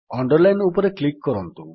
underline ଉପରେ click କରନ୍ତୁ